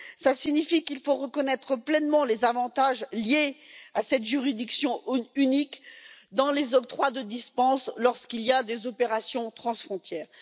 Cela signifie qu'il faut reconnaître pleinement les avantages liés à cette juridiction unique dans les octrois de dispense lors des opérations transfrontières.